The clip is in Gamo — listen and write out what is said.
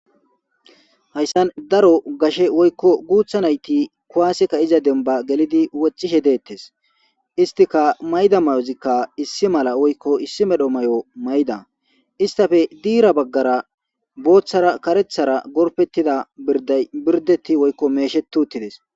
Dayssan daro gashe woykko guutha nayti kuwaaseka iza demba gelidi wochishe deettes istika mayda mayozikka issi mala woykko issi medho may7o mayda istafe diira baggara booththara karethara gorpettida birday birdetti woykko meeshetuttides.